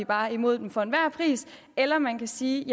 bare er imod dem for enhver pris eller man kan sige